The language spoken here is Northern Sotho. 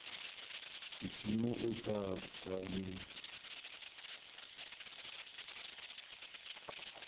sedimo o tla ba le